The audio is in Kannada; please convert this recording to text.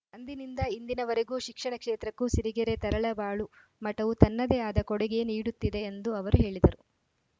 ಅಂದಿನಿಂದ ಇಂದಿನವರೆಗೂ ಶಿಕ್ಷಣ ಕ್ಷೇತ್ರಕ್ಕೂ ಸಿರಿಗೆರೆ ತರಳಬಾಳು ಮಠವು ತನ್ನದೇ ಆದ ಕೊಡುಗೆ ನೀಡುತ್ತಿದೆ ಎಂದು ಅವರು ಹೇಳಿದರು